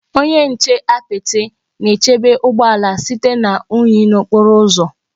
Onye nche apịtị na-echebe ụgbọ ala site na unyi n'okporo ụzọ.